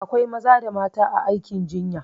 Akwa maza da mata a aikin jinya